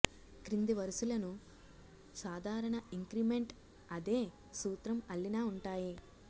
క్రింది వరుసలను సాధారణ ఇంక్రిమెంట్ అదే సూత్రం అల్లిన ఉంటాయి